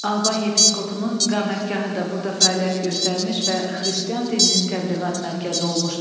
Alban yepiskopunun iqamətgahı da burada fəaliyyət göstərmiş və xristian dininin təbliğat mərkəzi olmuşdu.